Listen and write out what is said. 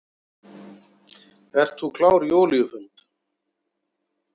Ert þú klár í olíufund?